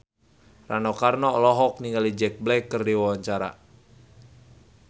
Rano Karno olohok ningali Jack Black keur diwawancara